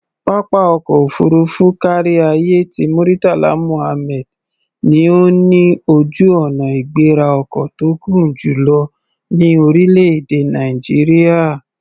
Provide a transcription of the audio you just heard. Pápá ọkọ̀ òfuurufú káríayé ti Murtala Muhammed ni ó ní ojú-ọnà-ìgbéra-ọkọ̀ tó gùn jù lọ ní orílẹ̀-èdè Nàìjíríà.